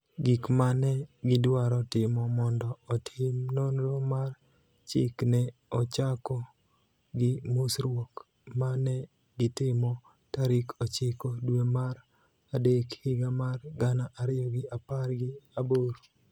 Gik ma ne gidwaro timo mondo otim nonro mar chik ne ochako gi mosruok ma ne gitimo tarik ochiko dwe mar adek higa mar gana ariyo gi apar gi aboro,